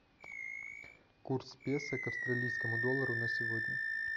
курс песо к австралийскому доллару на сегодня